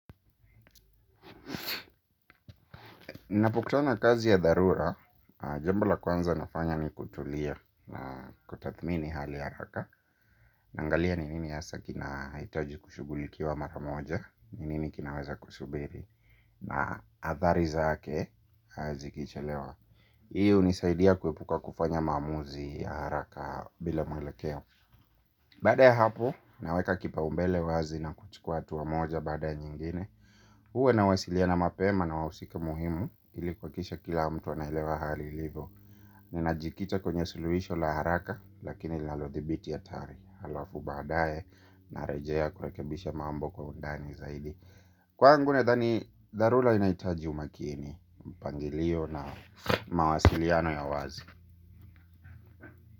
Ninapokutana na kazi ya dharura, jambo la kwanza nafanya ni kutulia kutathmini hali haraka. Naangalia ni nini hasa kina hitaji kushughulikiwa mara moja, ni nini kinaweza kusubiri. Na athari zake, kazi ikichelewa. Hii hunisaidia kuepuka kufanya maamuzi ya haraka bila mwelekeo. Baada ya hapo, naweka kipaumbele wazi na kuchukua hatua moja baada ya nyingine. Huwa nawasiliana mapema na wahusika muhimu ili kuhakikisha kila mtu anaelewa hali ilivo. Ninajikita kwenye suluhisho la haraka lakini linalodhibiti hatari. Halafu baadaye narejea kurekebisha mambo kwa undani zaidi. Kwaangu nadhani dharura inahitaji umakini, mpangilio na mawasiliano ya wazi.